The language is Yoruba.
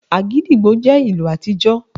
Agidigbo jẹ́ ìlù àtijọ